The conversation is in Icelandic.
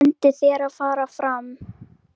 Bendir mér að fara fram.